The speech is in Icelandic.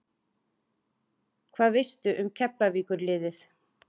Hvað veistu um Keflavíkur liðið?